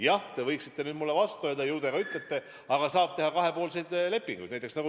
Jah, te võiksite nüüd mulle vastu öelda ja ju te ka ütlete, et saab teha kahepoolseid lepinguid.